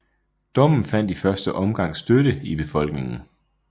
Dommen fandt i første omgang støtte i befolkningen